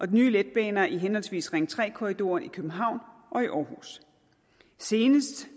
nye letbaner i henholdsvis ring tre korridoren i københavn og i aarhus senest